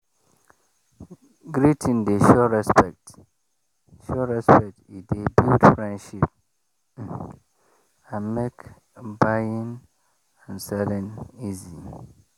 greeting dey show respect show respect e dey build friendship um and make buying and selling easy.